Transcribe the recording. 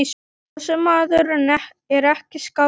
Þessi maður er ekki skáld.